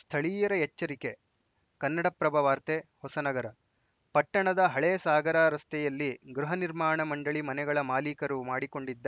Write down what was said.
ಸ್ಥಳೀಯರ ಎಚ್ಚರಿಕೆ ಕನ್ನಡಪ್ರಭ ವಾರ್ತೆ ಹೊಸನಗರ ಪಟ್ಟಣದ ಹಳೆ ಸಾಗರ ರಸ್ತೆಯಲ್ಲಿ ಗೃಹ ನಿರ್ಮಾಣ ಮಂಡಳಿ ಮನೆಗಳ ಮಾಲೀಕರು ಮಾಡಿಕೊಂಡಿದ್ದ